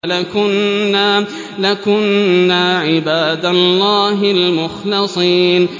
لَكُنَّا عِبَادَ اللَّهِ الْمُخْلَصِينَ